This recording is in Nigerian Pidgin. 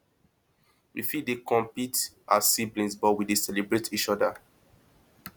we fit dey compete as siblings but we dey celebrate each oda